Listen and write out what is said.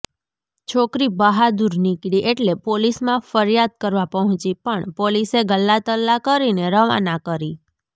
છોકરી બહાદુર નિકળી એટલે પોલીસમાં ફરિયાદ કરવા પહોંચી પણ પોલીસે ગલ્લાંતલ્લાં કરીને રવાના કરી